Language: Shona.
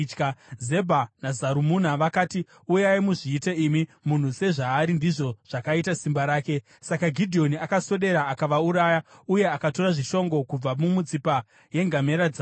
Zebha naZarumuna vakati, “Uyai muzviite imi. ‘Munhu sezvaari ndizvo zvakaita simba rake.’ ” Saka Gidheoni akaswedera akavauraya, uye akatora zvishongo kubva mumitsipa yengamera dzavo.